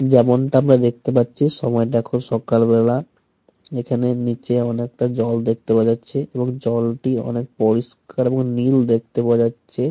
যেমনটা আমরা দেখতে পাচ্ছি সময়টা এখন সকালবেলা। এখানে নিচে অনেকটা জল দেখতে পাওয়া যাচ্ছে এবং জলটি অনেক পরিষ্কার এবং নীল দেখতে পাওয়া যাচ্ছে।